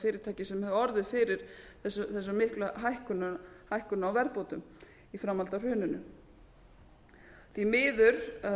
fyrirtæki sem hefðu orðið fyrir þessum miklu hækkunum á verðbótum í framhaldi af hruninu því miður